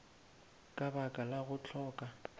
ka baka la go hloka